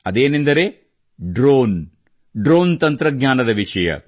ಅದೆಂದರೆ drone drone ತಂತ್ರಜ್ಞಾನದ ವಿಷಯ